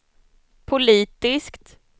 politiskt